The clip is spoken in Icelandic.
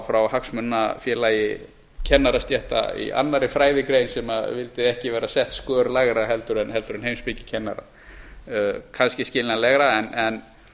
frá hagsmunafélag kennarastétta í annarri fræðigrein sem vildi ekki vera sett skör lægra en heimspekikennarar kannski skiljanlega en